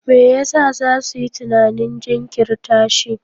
Me yasa za su yi tunanin jinkirta shi?